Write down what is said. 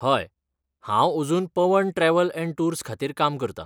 हय, हांव अजून पवन ट्रॅव्हल अँड टूर्स खातीर काम करतां.